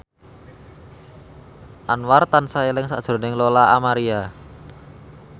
Anwar tansah eling sakjroning Lola Amaria